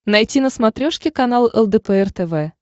найти на смотрешке канал лдпр тв